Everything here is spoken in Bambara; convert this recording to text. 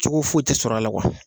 Cogo foyi tɛ sɔrɔla a la